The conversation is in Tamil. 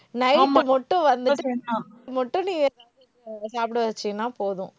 night மட்டும் வந்துட்டு, சாப்பிட வச்சீங்கன்னா போதும்.